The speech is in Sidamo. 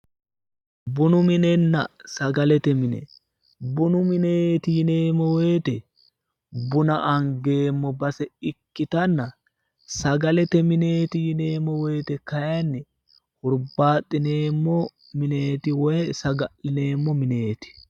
Bunu minenna sagalete mine ,bunu mineti yinneemmo woyte bunna angeemmo base ikkittanna sagalete mineti yinneemmo woyte kayinni burubbaxineemmo woyi saga'lineemmo mineti